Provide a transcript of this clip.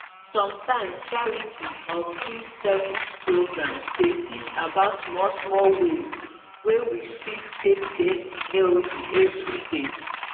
sometimes charity or free service programs dey teach about small small ways wey we fit take dey healthy everyday.